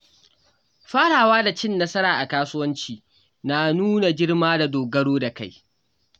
Farawa da cin nasara a kasuwanci na nuna girma da dogaro da kai.